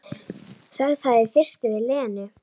Sagði það í fyrstu við Lenu.